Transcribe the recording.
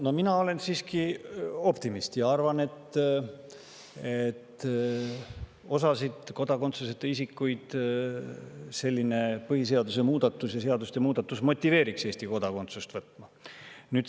No mina olen siiski optimist ja arvan, et osa kodakondsuseta isikuid selline põhiseadusemuudatus ja seaduste muudatus motiveeriks Eesti kodakondsust võtma.